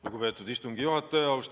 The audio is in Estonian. Lugupeetud istungi juhataja!